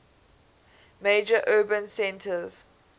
major urban centers